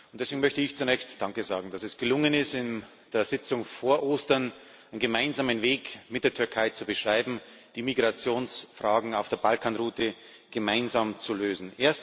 Deswegen möchte ich zunächst danke sagen, dass es gelungen ist, in der Sitzung vor Ostern einen gemeinsamen Weg mit der Türkei zu beschreiben, die Migrationsfragen auf der Balkanroute gemeinsam zu lösen.